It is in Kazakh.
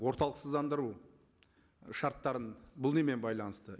орталықсыздандыру шарттарын бұл немен байланысты